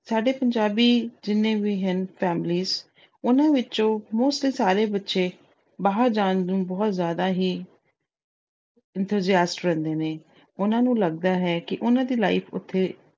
ਸਾਡੇ ਪੰਜਾਬੀ ਜਿੰਨੇ ਵੀ ਹਨ families ਉਹਨਾਂ ਵਿੱਚੋਂ mostly ਸਾਰੇ ਬੱਚੇ ਬਾਹਰ ਜਾਣ ਨੂੰ ਬਹੁਤ ਜਿਆਦਾ ਹੀ enthusiast ਰਹਿੰਦੇ ਨੇ। ਉਹਨਾਂ ਨੂੰ ਲੱਗਦਾ ਹੈ ਕਿ ਉਹਨਾਂ ਦੀ life ਉੱਥੇ